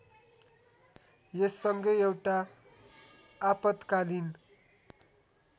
यससँगै एउटा आपत्कालीन